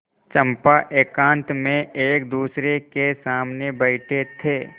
चंपा एकांत में एकदूसरे के सामने बैठे थे